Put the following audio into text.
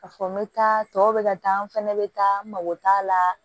Ka fɔ n bɛ taa tɔw bɛ ka taa n fɛnɛ bɛ taa n mago t'a la